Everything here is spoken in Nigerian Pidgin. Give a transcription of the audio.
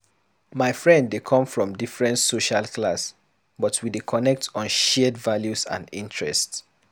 My friend dey come from different social class, but we dey connect on shared values and interests.